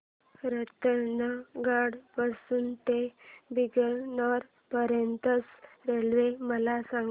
रतनगड पासून ते बीकानेर पर्यंत च्या रेल्वे मला सांगा